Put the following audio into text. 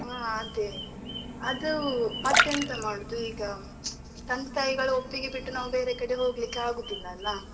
ಹಾ ಅದೇ, ಅದು ಮತ್ತೆ ಎಂತ ಮಾಡುದು ಈಗ ತಂದೆ ತಾಯಿಗಳು ಒಪ್ಪಿಗೆ ಬಿಟ್ಟು ನಾವು ಬೇರೆ ಕಡೆಗೆ ಹೋಗ್ಲಿಕ್ಕೆ ಆಗುದಿಲ್ಲ ಅಲ್ಲಾ.